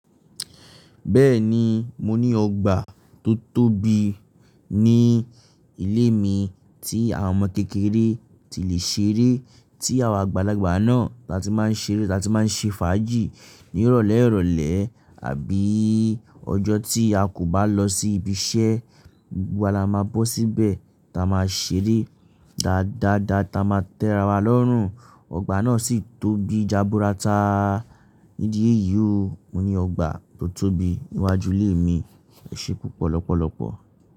Bẹ́ẹ̀ni, mo ní ọgbà tó tóbi ní ilé mi tí àwọn ọmọ kékeré ti lè ṣeré, tí àwa àgbàlagbà náà la ti máa ń ṣeré, la ti máa ń ṣe fàájì ní ìrọ̀lẹ́ ìrọ̀lẹ́ àbí ọjọ́ tí a kò bá lọ sí ibi iṣẹ́, gbogbo wa la máa bọ́ síbẹ̀, ta máa ṣeré dáadáa ta máa tẹ́ra wa lọ́rùn. Ọgbà náà sì tóbi já búra ta nídìí yìí o. Mo ní ọgbà tó tóbi níwájú ilé mi. E se púpọ ni ọpọlọpọ.